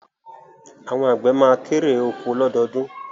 Àwọn àgbẹ̀ ma kérè oko lọ́dọọdún